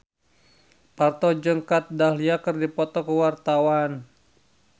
Parto jeung Kat Dahlia keur dipoto ku wartawan